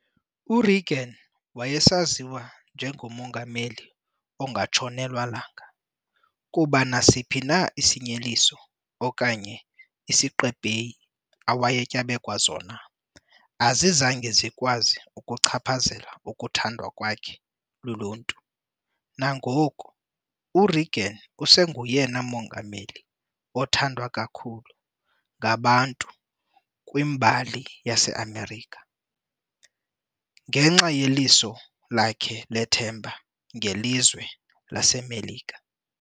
U-Reagan wayesaziwa njengengo'mongameli ongatshonelwa langa' kuba nasiphi na isenyeliso okanye isiqebheyi awayetyabekwa zona azizange zikwazi ukuchaphazela ukuthandwa kwakhe luluntu. nangoku, uReagan usengoyena mongameli othandwa kakhulu ngabantu kwmbali yaseMelika ngenxa yeliso lakhe lethemba ngelizwe laseMelika.